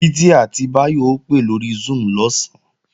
Títí àti Báyọ̀ ó pè lórí Zoom lọ̀sán